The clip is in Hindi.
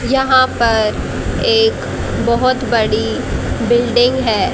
यहां पर एक बहुत बड़ी बिल्डिंग है।